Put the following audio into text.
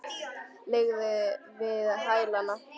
Liggja við hælana.